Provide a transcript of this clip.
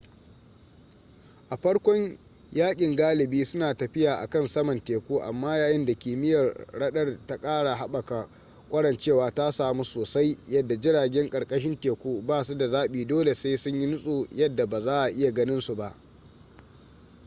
a farkon yakin galibi suna tafiya akan saman teku amma yayin da kimiyyar radar ta kara haɓaka kwarancewa ta samu soasai yadda jiragen karkashin teku basu da zabi dole sai sun yi nutso yadda ba za'a iya ganin su ba